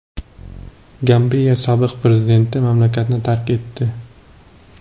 Gambiya sobiq prezidenti mamlakatni tark etdi.